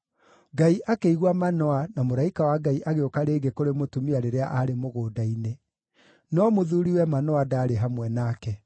Ngai akĩigua Manoa, na mũraika wa Ngai agĩũka rĩngĩ kũrĩ mũtumia rĩrĩa aarĩ mũgũnda-inĩ; no mũthuuriwe Manoa ndaarĩ hamwe nake.